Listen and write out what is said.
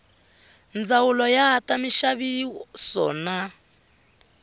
ndzawulo ya ta minxaviso na